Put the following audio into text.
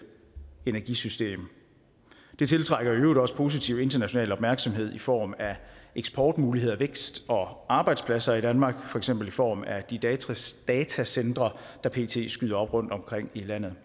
energisystem det tiltrækker i øvrigt også positiv international opmærksomhed i form af eksportmuligheder vækst og arbejdspladser i danmark for eksempel i form af de datacentre der pt skyder op rundtomkring i landet